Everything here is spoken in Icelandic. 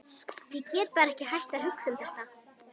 Ég get bara ekki hætt að hugsa um þetta.